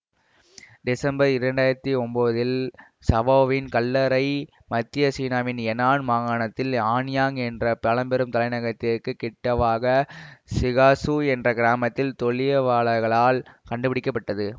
December இரண்டு ஆயிரத்தி ஒன்போதில் சாவோவின் கல்லறை மத்திய சீனாவின் எனான் மாகாணத்தில் ஆன்யாங் என்ற பழம்பெரும் தலைநகரத்திற்குக் கிட்டவாக சிகாசூ என்ற கிராமத்தில் தொலியவாளர்களால் கண்டுபிடிக்க பட்டன